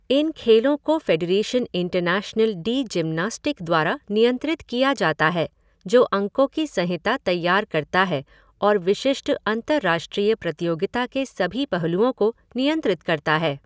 इन खेलों को Fédération Internationale de Gymnastique द्वारा नियंत्रित किया जाता है, जो अंकों की संहिता तैयार करता है और विशिष्ट अंतरराष्ट्रीय प्रतियोगिता के सभी पहलुओं को नियंत्रित करता है।